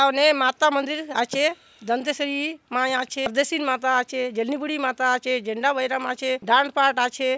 गांव ने माता मंदिर आचे दंतेश्वरी माय आचे बेसिन माता आचे जलनि गुडिन माता आचे झण्डाभैरम आचे धानपाट आचे।